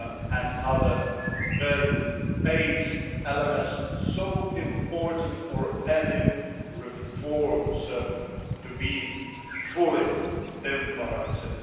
and other value based elements which are so important for any reforms to be fully implemented.